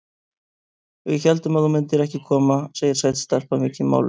Við héldum að þú myndir ekki koma, segir sæt stelpa, mikið máluð.